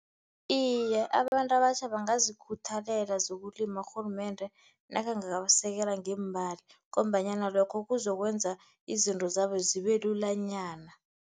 Iye, abantu abatjha bangazikhuthalela zokulima urhulumende nakangabasekela ngeemali, ngombanyana lokho kuzokwenza izinto zabo zibe lulanyana.